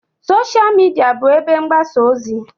Sosha Midia bụ ebe mgbasa ozi.